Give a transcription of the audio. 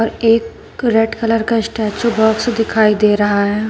एक red colour का statue box दिखाई दे रहा है।